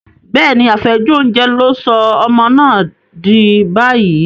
Bẹ́ẹ̀ni, àfẹ́jù oúnjẹ ló sọ ọmọ náà dì báyìí.